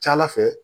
Ca ala fɛ